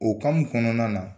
O kɔnɔna na